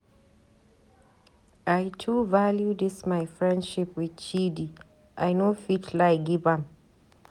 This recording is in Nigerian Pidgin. I too value dis my friendship with Chidi, I no fit lie give am.